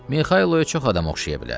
Mixailoya çox adam oxşaya bilər.